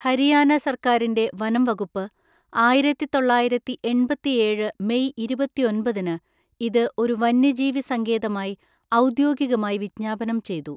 ഹരിയാന സർക്കാരിന്റെ വനംവകുപ്പ്, ആയിരത്തിത്തൊള്ളായിരത്തി എണ്‍പത്തിഏഴ് മെയ് ഇരുപത്തൊന്‍പതിന് ഇത് ഒരു വന്യജീവി സങ്കേതമായി ഔദ്യോഗികമായി വിജ്ഞാപനം ചെയ്തു.